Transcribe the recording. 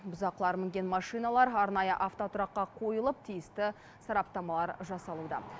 бұзақылар мінген машиналар арнайы автотұраққа қойылып тиісті сараптамалар жасалуда